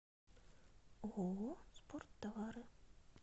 ооо спорттовары